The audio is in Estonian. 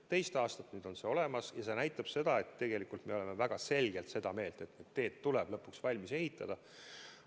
Teist aastat nüüd on see olemas ja see näitab seda, et tegelikult me oleme väga selgelt seda meelt, et teed tuleb lõpuks valmis ehitada.